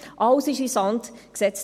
Alles wurde in den Sand gesetzt.